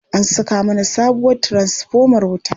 An saka mana sabuwar tiransifomar wuta.